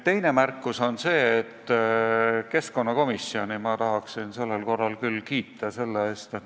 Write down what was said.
Teine märkus on see, et ma tahaksin keskkonnakomisjoni sellel korral küll kiita.